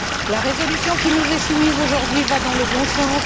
La résolution qui nous est soumise aujourd'hui va dans le bon sens.